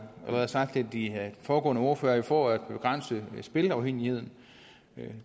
sagt af de foregående ordførere jo for at begrænse spilleafhængigheden